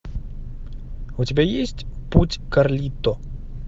у тебя есть путь карлито